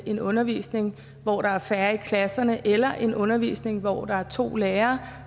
en undervisning hvor der er færre i klasserne eller en undervisning hvor der er to lærere